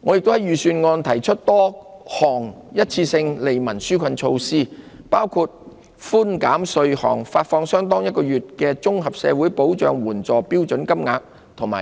我也在預算案提出多項一次性的利民紓困措施，包括寬減稅項、發放相當於1個月的綜合社會保障援助標準金額